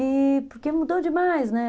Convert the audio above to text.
E porque mudou demais, né?